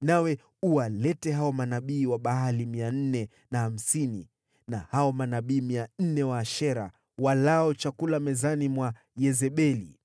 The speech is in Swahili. Nawe uwalete hao manabii wa Baali mia nne na hamsini na hao manabii mia nne wa Ashera, walao chakula mezani mwa Yezebeli.”